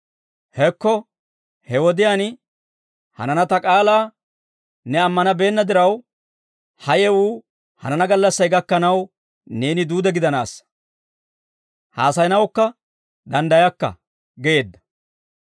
Hekko he wodiyaan hanana ta k'aalaa ne ammanabeenna diraw, ha yewuu hanana gallassay gakkanaw neeni duude gidanaassa; haasayanawukka danddayakka» geedda.